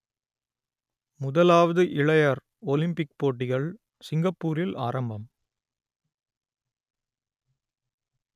முதலாவது இளையர் ஒலிம்பிக் போட்டிகள் சிங்கப்பூரில் ஆரம்பம்